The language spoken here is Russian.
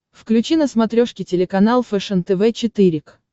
включи на смотрешке телеканал фэшен тв четыре к